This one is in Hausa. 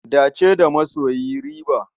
Dace da masoyi riba.